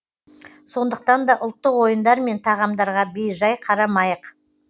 сондықтан да ұлттық ойындар мен тағамдарға бей жай қарамайық